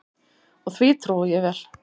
Og því trúi ég vel.